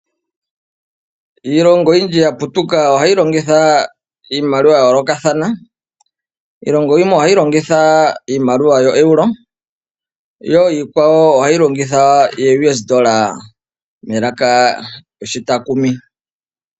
Iilongo oyindji yaputuka ohayi longitha iimaliwa yayoolokathana. Iilongo yimwe ohayi longitha iimaliwa yoelo yo iikwawo ohayi longitha “ooUS dola” melaka lyoshitakumi.